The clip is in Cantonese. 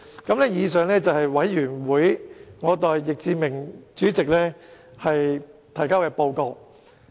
以上是我代小組委員會主席易志明議員提交的報告。